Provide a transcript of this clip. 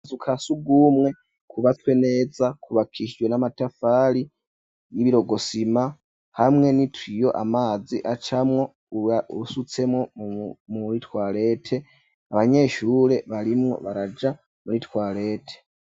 Akazu ka sugumwe kubatswe neza kubakishijwe n'amatafari y'ibirokosima hamwe n'itiyo amazi acamwo uba usutsemwo muri twarete abanyeshure barimwo baraja muri twarete.